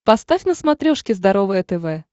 поставь на смотрешке здоровое тв